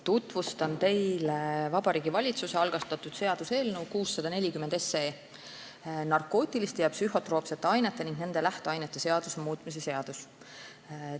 Tutvustan teile Vabariigi Valitsuse algatatud seaduseelnõu 640, narkootiliste ja psühhotroopsete ainete ning nende lähteainete seaduse muutmise seaduse eelnõu.